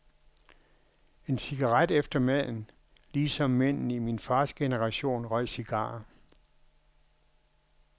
En cigaret efter maden, ligesom mændene i min fars generation røg cigarer.